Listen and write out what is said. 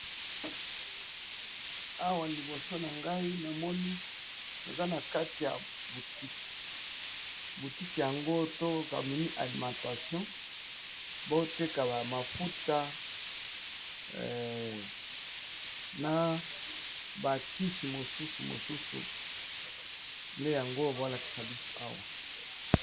Awa liboso na ngai namoni aza na kati ya butike butike yango to kamini alimentation boteka ba mafuta na bakisi mosusu mosusu nde yango bolakisa biso awa.